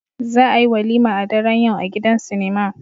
Za a yi walima a daren yau a gidan sinima